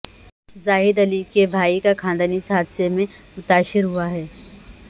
زاہد علی کے بھائی کا خاندان اس حادثے میں متاثر ہوا ہے